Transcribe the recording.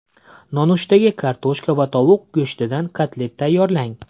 Nonushtaga kartoshka va tovuq go‘shtidan kotlet tayyorlang.